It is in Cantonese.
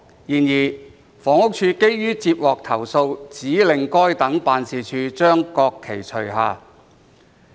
然而，房屋署基於接獲投訴，指令該等辦事處將國旗除下。